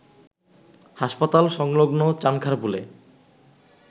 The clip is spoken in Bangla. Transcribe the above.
হাসপাতাল সংলগ্ন চানখারপুলে